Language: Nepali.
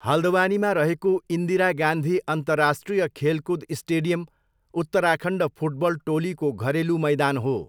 हल्द्वानीमा रहेको इन्दिरा गान्धी अन्तर्राष्ट्रिय खेलकुद स्टेडियम उत्तराखण्ड फुटबल टोलीको घरेलु मैदान हो।